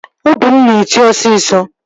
Obi m na-eti osisọ